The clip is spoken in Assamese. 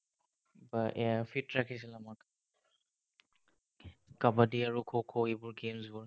এয়া Fit ৰাখিছিল আমাক কাবাডী আৰু খো খো এইবোৰ games বোৰ